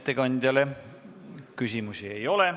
Ettekandjale küsimusi ei ole.